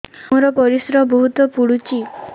ମୋର ପରିସ୍ରା ବହୁତ ପୁଡୁଚି